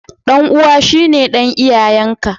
Dan'uwa shine dan iyayen ka.